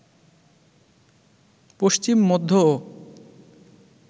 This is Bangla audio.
পশ্চিম, মধ্য ও